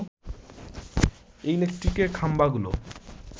ইলেকট্রিকের খাম্বাগুলো